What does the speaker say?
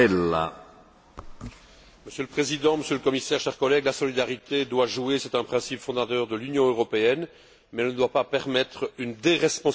Monsieur le Président, Monsieur le Commissaire, chers collègues, la solidarité doit jouer, c'est un principe fondateur de l'Union européenne, mais elle ne doit pas permettre une déresponsabilisation des différents acteurs.